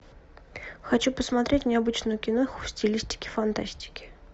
хочу посмотреть необычную киноху в стилистике фантастики